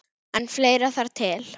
En fleira þarf til.